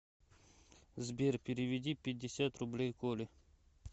сбер переведи пятьдесят рублей коле